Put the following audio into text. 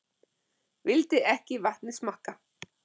vildi ekki vatnið smakka